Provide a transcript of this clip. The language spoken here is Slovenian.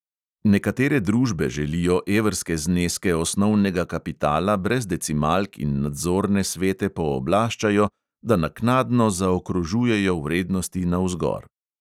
Nekatere družbe želijo evrske zneske osnovnega kapitala brez decimalk in nadzorne svete pooblaščajo, da naknadno zaokrožujejo vrednosti navzgor.